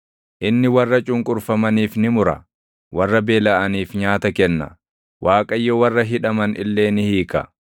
Inni warra cunqurfamaniif ni mura; warra beelaʼaniif nyaata kenna. Waaqayyo warra hidhaman illee ni hiika;